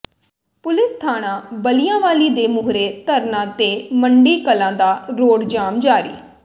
police ਥਾਣਾ ਬਾਲਿਆਂਵਾਲੀ ਦੇ ਮੂਹਰੇ ਧਰਨਾ ਤੇ ਮੰਡੀ ਕਲਾਂ ਦਾ ਰੋਡ ਜਾਮ ਜਾਰੀ